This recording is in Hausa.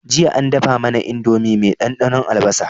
Jiya an dafa mAna indomie me dan dannon albasa